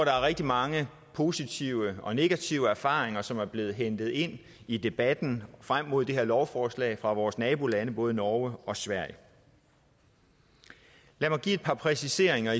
er rigtig mange positive og negative erfaringer som er blevet hentet ind i debatten frem mod det her lovforslag fra vores nabolande både norge og sverige lad mig give et par præciseringer